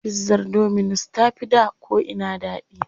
Pizzar dominus ta fi da ko'ina daɗi.